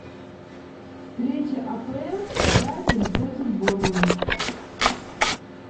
встреча апл брайтон против борнмут